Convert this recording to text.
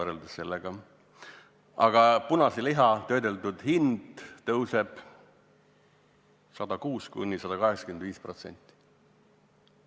Töödeldud punase liha hind tõuseb 106–185%.